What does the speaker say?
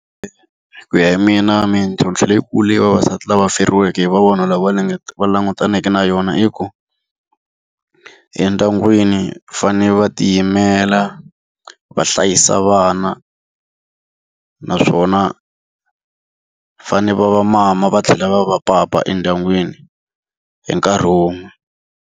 Ku ya hi mina mintlhontlho leyikulu leyi vavasati lava feriweke hi lava va langutaneke na yona i ku. Endyangwini va fanele va tiyimela, va hlayisa vana, naswona fanele va va mama va tlhela va va papa endyangwini hi nkarhi wun'we.